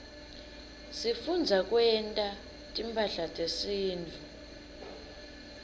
sifundza kwenta timphahla tesintfu